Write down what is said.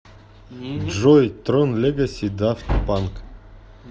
джой трон легаси дафт панк